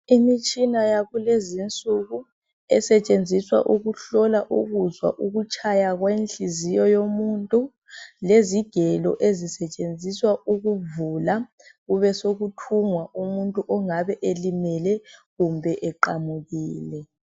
Imitshina yakulezi insuku esetshenziswa ukuhlola ukuzwa ukutshaya kwenhliziyo yomuntu lezigelo ezisetshenziswa ukuvula kube sekuthungwa umuntu ongabe elimele kumbe eqamukile.